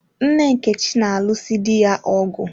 Nne Nkechi na-alụ si di ya ọgụ.